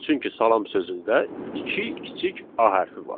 Çünki salam sözündə iki kiçik A hərfi var.